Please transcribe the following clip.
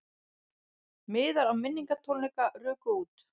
Miðar á minningartónleika ruku út